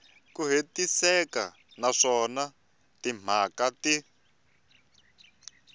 ku hetiseka naswona timhaka ti